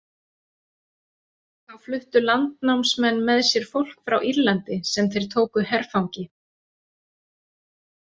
Þá fluttu landnámsmenn með sér fólk frá Írlandi sem þeir tóku herfangi.